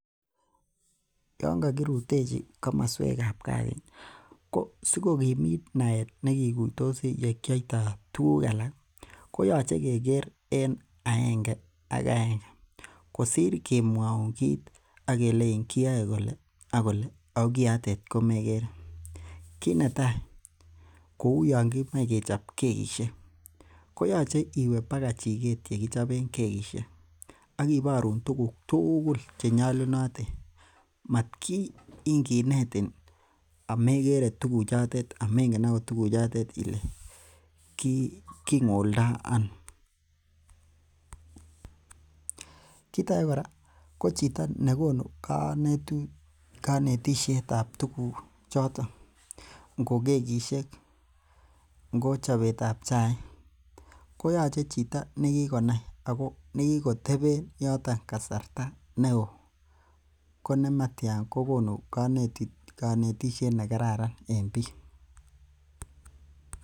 Yan kokirutechi komoswek ab kaa yuu ko sikokimit naet nekikuitos yekioitoo tuguk alak ih koyoche keker en agenge ak agenge kosir kemwoun kit akelein kiyoe kole akole ako kiotet komekere. Kit netaa kou yon kimoe kechob kekisiek koyoche iwe baka chiket yekichoben kekisiek akiborun tuguk tugul chenyolunotin matin kinetin amekere tuguk chotet amengen ot tuguk chotet ile king'oldoo ano. Kit age kora ko chito nekonu konetu konetisiet ab tuguk choton ngo kekisiek ngo chobet ab chaik koyoche ko chito nekikonai ako nekikoteben yoton kasarta neoo kot nematyan kokonu konetisiet nekararan en biik